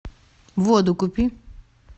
воду купи